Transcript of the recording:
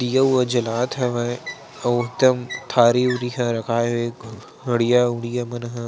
दिया विया जलात हवे आऊ बहुत कन थारी उरी ह रखाय हे हड़ियाँ उड़िया मन ह--